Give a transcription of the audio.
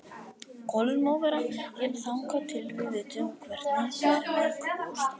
Kolur má vera hér þangað til við vitum hvernig fer með Gústa.